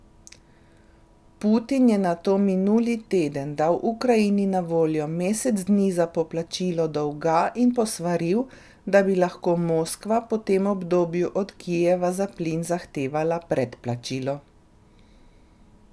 Putin je nato minuli teden dal Ukrajini na voljo mesec dni za poplačilo dolga in posvaril, da bi lahko Moskva po tem obdobju od Kijeva za plin zahtevala predplačilo.